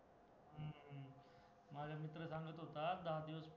माझा मित्र सांगत होता दहा दिवस पाऊल